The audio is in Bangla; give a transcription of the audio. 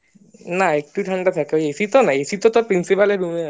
না একটু ঠান্ডা থাকে ওই AC তো না AC তো তোর principal এর room এ আছে principal এ